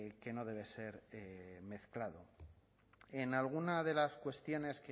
que no debe ser mezclado en alguna de las cuestiones